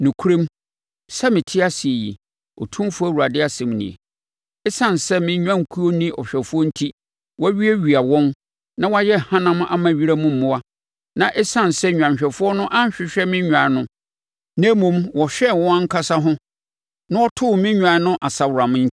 Nokorɛm, sɛ mete ase yi, Otumfoɔ Awurade asɛm nie, ɛsiane sɛ me nnwankuo nni ɔhwɛfoɔ enti wɔawiawia wɔn na wɔayɛ hanam ama wiram mmoa, na ɛsiane sɛ nnwanhwɛfoɔ no anhwehwɛ me nnwan no na mmom wɔhwɛɛ wɔn ankasa ho na wɔtoo me nnwan no asaworam